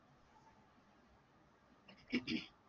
हम्म